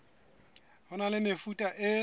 ho na le mefuta e